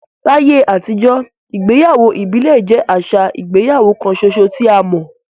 Láyé àtijọ́, ìgbéyàwó ìbílẹ̀ jẹ́ àṣà ìgbéyàwó kan ṣoṣo tí a mọ̀.